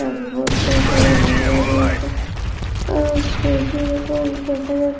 আর এই বদ্ধ ঘরে লাগানো রয়েছে আর প্রদীপ উপর দেখা যাচ--